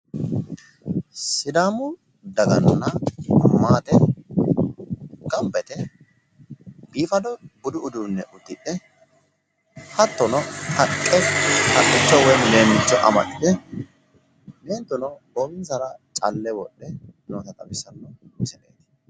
Sidaamu daganna maate gamba yite biifado uduunne uddidhe hattono haqqe haqqicho woy leemmicho amaxxite hattono meentuno goowinsara calle wodhe noota xawissanno misileeti